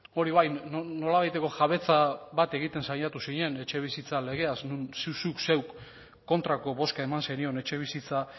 hori bai nolabaiteko jabetza bat egiten saiatu zinen etxebizitza legeaz non zuk zeuk kontrako bozka eman zenion etxebizitza